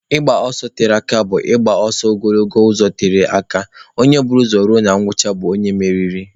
Ịgba ọsọ tere aka bụ igba ọsọ ogologo ụzọ tere aka, onye bu ụzọ ruo na ngwụcha bụ onye mmeri